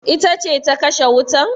Ita ce ta kashe wutan?